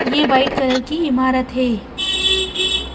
यह white colour की इमारत है।